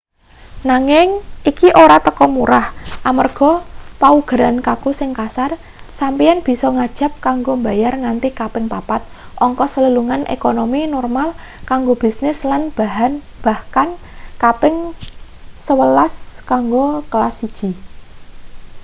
nanging iki ora teka murah amarga paugeran kaku sing kasar sampeyan bisa ngajab kanggo bayar nganti kaping papat ongkos lelungan ekonomi normal kanggo bisnis lan bahkan kaping sewelas kanggo kelas siji